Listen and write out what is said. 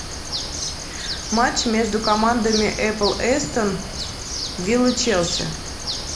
матч между командами апл астон вилла челси